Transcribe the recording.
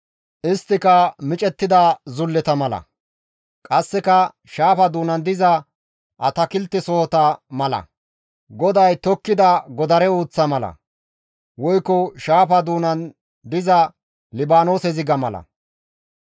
Isttika micettida zulleta mala; qasseka shaafa doonan diza atakiltesohota mala; GODAY tokkida godare uuththa mala; woykko shaafa doonan diza Libaanoose ziga mala.